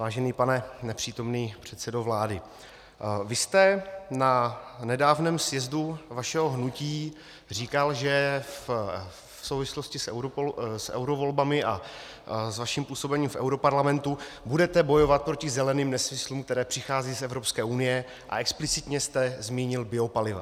Vážený pane nepřítomný předsedo vlády, vy jste na nedávném sjezdu vašeho hnutí říkal, že v souvislosti s eurovolbami a s vaším působením v europarlamentu budete bojovat proti zeleným nesmyslům, které přicházejí z Evropské unie, a explicitně jste zmínil biopaliva.